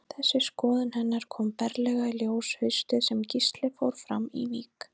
Þessi skoðun hennar kom berlega í ljós haustið sem Gísli fór fram í vík.